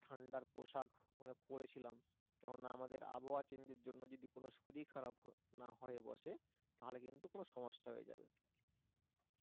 ঠান্ডার পোষাক ওখানে পরেছিলাম কারণ আমাদের আবহাওয়া change এর জন্য যদি কোন শরীর খারাপ না হয়ে বসে তাহলে কিন্তু কোন সমস্যা হয়ে যাবে ও